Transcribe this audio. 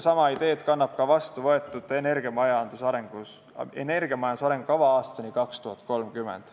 Sama ideed kannab ka vastuvõetud "Energiamajanduse arengukava aastani 2030".